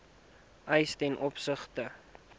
eis ten opsigte